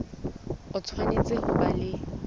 o tshwanetse ho ba le